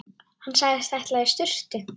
Hann sagðist ætla í sturtu.